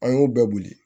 An y'u bɛɛ boli